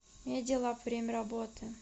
медилаб время работы